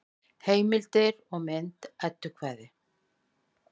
Heimildir og mynd Eddukvæði.